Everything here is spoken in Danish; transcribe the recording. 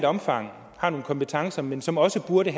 omfang har nogle kompetencer men som også burde